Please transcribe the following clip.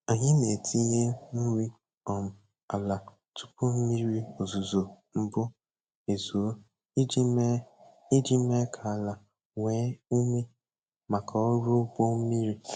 Anyị na-etinye nri um ala tupu mmiri ozuzo mbụ ezoo iji mee iji mee ka ala nwee ume maka ọrụ ugbo mmiri.